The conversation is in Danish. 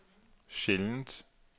sjældent